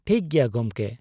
ᱴᱷᱤᱠ ᱜᱮᱭᱟ ᱜᱚᱢᱠᱮ ᱾